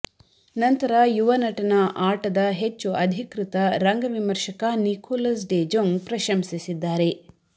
ನಂತರ ಯುವ ನಟನ ಆಟದ ಹೆಚ್ಚು ಅಧಿಕೃತ ರಂಗ ವಿಮರ್ಶಕ ನಿಕೋಲಸ್ ಡೆ ಜೊಂಗ್ ಪ್ರಶಂಸಿಸಿದ್ದಾರೆ